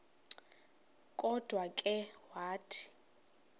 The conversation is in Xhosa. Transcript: kodwa ke wathi